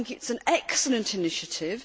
I think it is an excellent initiative.